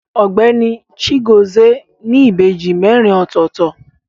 Ọgbẹni Chigozie ni ìbejì merin ọ̀tọ̀ọ̀tọ̀.